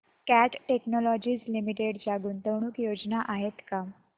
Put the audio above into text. cat Technologies Limited च्या गुंतवणूक योजना आहेत का